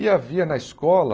E havia na escola